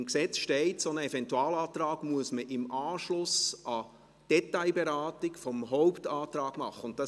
Im Gesetz steht, dass man einen solchen Eventualantrag im Anschluss an die Detailberatung der Hauptberatung behandeln muss.